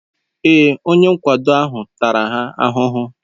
Èé, onye nkwado ahụ tara ha ahụhụ.